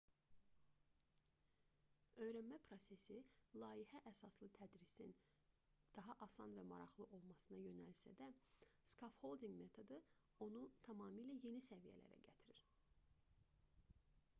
öyrənmə prosesi layihə əsaslı tədrisin daha asan və maraqlı olmasına yönəlsə də skaffoldinq metodu onu tamamilə yeni səviyyələrə gətirir